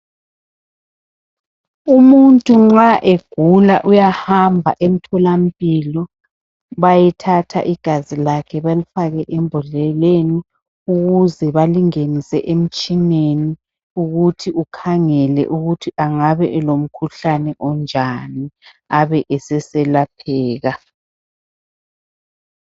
Umuntu nxa egula uyahamba emtholampilo bayethatha igazi lakhe balifake embhodleleni ukuze balingenise emtshineni ukuthi ukhangela ukuthi angabe elomkhuhlane onjani abe eseselapheka